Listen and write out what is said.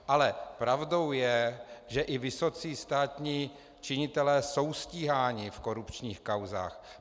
Ale pravdou je, že i vysocí státní činitelé jsou stíháni v korupčních kauzách.